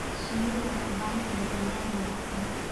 Shinnidu waxay u baahan tahay deegaan dabacsan.